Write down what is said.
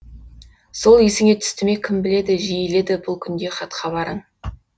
сол есіңе түсті ме кім біледі жиіледі бұл күнде хат хабарың